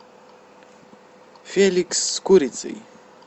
феликс с курицей